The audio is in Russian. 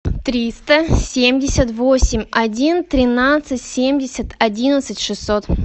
триста семьдесят восемь один тринадцать семьдесят одиннадцать шестьсот